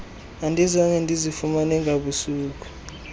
andizange ndizifumane ngabusuku